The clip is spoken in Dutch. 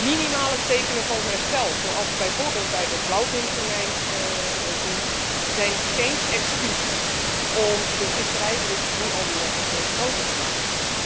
Minimale tekenen van herstel, zoals we bijvoorbeeld bij de blauwvintonijn zien, zijn geen excuus om de visserijdruk nu al weer veel groter te maken.